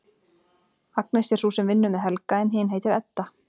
Agnes er sú sem vinnur með Helga en hin heitir Edda.